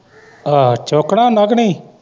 ਆਹੋ ਚੁੱਕਣਾ ਆਉਂਦਾ ਕਿ ਨਹੀ?